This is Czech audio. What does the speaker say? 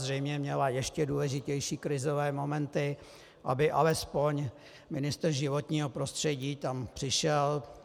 Zřejmě měla ještě důležitější krizové momenty, aby alespoň ministr životního prostředí tam přišel.